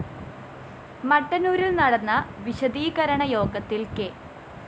മട്ടന്നൂരില്‍ നടന്ന വിശദീകരണ യോഗത്തില്‍ കെ